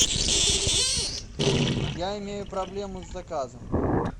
я имею проблему с заказом